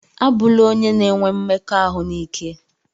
A bụna onye na-enwe mmekọahụ n'ike!